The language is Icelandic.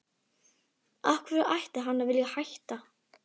Af hverju ætti hann að vilja hætta?